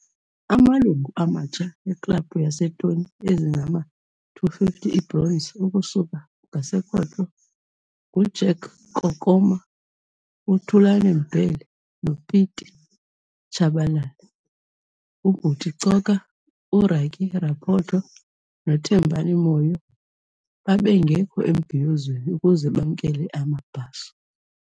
Amalungu amatsha eKlabhu yeeToni ezingama-250, ibronzi, ukusuka ngasekhohlo - nguJack Kokoma, uThulane Mbhele noPieter Chabalala. UButi Coka, uRykie Raphoto noThembani Moyo babengekho embhiyozweni ukuze bamkele amabhaso.